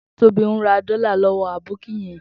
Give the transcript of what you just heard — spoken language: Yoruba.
Tobi n rà dòlá lòwò àbókí yèn